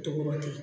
Toro ten